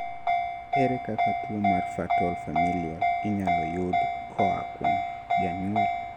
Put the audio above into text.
ere kaka tuwo mar fatal familial inyalo yud koa kuom janyuol?